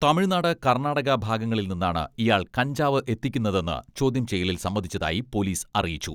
തമിഴ്നാട്, കർണാടക ഭാഗങ്ങളിൽ നിന്നാണ് ഇയാൾ കഞ്ചാവ് എത്തിക്കുന്നതെന്ന് ചോദ്യം ചെയ്യലിൽ സമ്മതിച്ചതായി പോലീസ് അറിയിച്ചു.